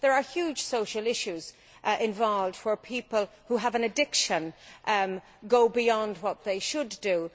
There are huge social issues involved where people who have an addiction go beyond what they should do.